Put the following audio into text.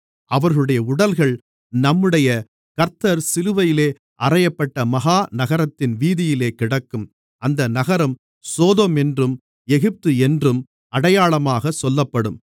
அவர்களுடைய உடல்கள் நம்முடைய கர்த்தர் சிலுவையிலே அறையப்பட்ட மகா நகரத்தின் வீதியிலே கிடக்கும் அந்த நகரம் சோதோம் என்றும் எகிப்து என்றும் அடையாளமாகச் சொல்லப்படும்